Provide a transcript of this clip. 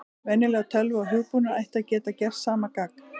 Venjuleg tölva og hugbúnaður ætti að geta gert sama gagn.